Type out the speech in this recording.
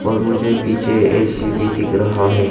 और मुझे पीछे ऐ_सी भी दिख रहा है।